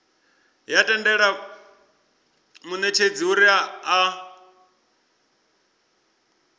ya tendela munetshedzi uri a